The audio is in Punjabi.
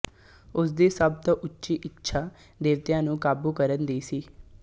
ਉਸਦੀ ਸਭ ਤੋਂ ਉੱਚੀ ਇੱਛਾ ਦੇਵਤਿਆਂ ਨੂੰ ਕਾਬੂ ਕਰਨ ਦੀ ਸੀ